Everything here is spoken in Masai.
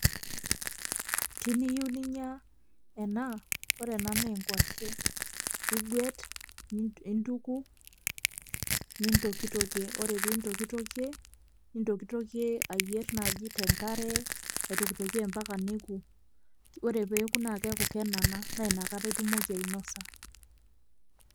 Tiniyieu ninya ena, ore ena naa enkuashe iguet intuku nintokitokie ore pee intokitokie nitokitokie ayierr naaji te nkare nintokitokie mpaka neoku ore pee eoku naa kenana naa inakata itumoki ainosa.